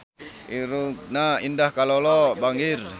Irungna Indah Kalalo bangir